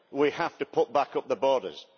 We have to put back up the borders.